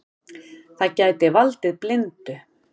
Það gæti valdið blindu.